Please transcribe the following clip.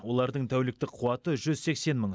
олардың тәуліктік қуаты жүз сексен мың